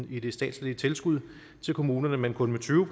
i det statslige tilskud til kommunerne men kun med tyve